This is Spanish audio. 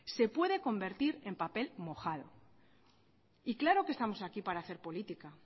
se puede convertir en papel mojado y claro que estamos aquí para hacer política